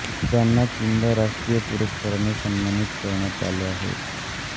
त्यांना तीनदा राष्ट्रिय पुरस्काराने सन्मानित करण्यात आले आहे